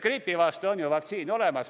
Gripi vastu on vaktsiin ju olemas.